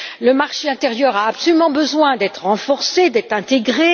Le marché intérieur a absolument besoin d'être renforcé et intégré.